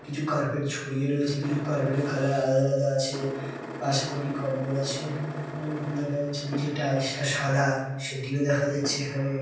কিছু কার্পেট ছড়িয়ে রয়েছে কিছু কার্পেট -এর কালার আলাদা আলাদা আছে । পাশে কটি কম্বল আছে উম ঐরকম দেখা যাচ্ছে নিচে টাইলস -টা সাদা সেটিও দেখা যাচ্ছে এখানে ।